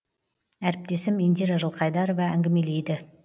әріптесім индира жылқайдарова әңгімелейді